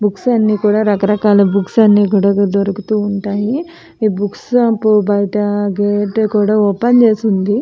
Books అన్నీ కూడా రకరకాల బుక్స్ అన్నీ కూడా దొరుకుతూ ఉంటాయి. ఈ బుక్స్ షాప్ బయట కూడా గేట్ ఓపెన్ చేసి ఉంది.